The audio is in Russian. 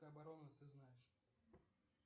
обороны ты знаешь